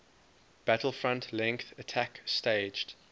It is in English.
battlefront length attack staged